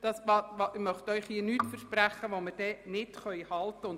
Denn ich möchte Ihnen hier nichts versprechen, was wir nicht einhalten können.